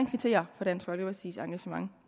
kvittere for dansk folkepartis engagement